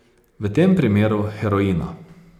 V tem primeru heroina.